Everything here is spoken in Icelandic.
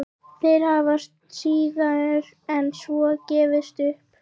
Þeir hafa síður en svo gefist upp.